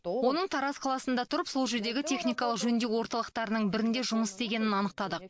оның тараз қаласында тұрып сол жердегі техникалық жөндеу орталықтарының бірінде жұмыс істегенін анықтадық